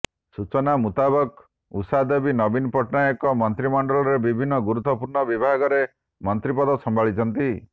ସୂଚନା ମୁତାବକ ଉଷାଦେବୀ ନବୀନ ସରକାରଙ୍କ ମନ୍ତ୍ରୀ ମଣ୍ଡଳରେ ବିଭିନ୍ନ ଗୁରୁତ୍ୱପୂର୍ଣ୍ଣ ବିଭାଗର ମନ୍ତ୍ରୀପଦ ସମ୍ଭାଳିଛନ୍ତି